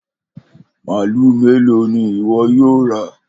Malu melo ni iwọ yoo ra?